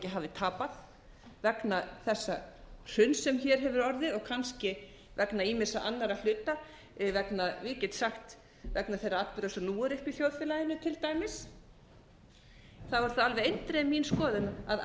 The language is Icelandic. hafi tapað vegna þessa hruns sem hér hefur orðið og kannski vegna ýmissa annarra hluta vegna ég get sagt vegna þeirra atburða sem nú eru uppi í þjóðfélaginu til dæmis þá er það alveg eindregið mín skoðun að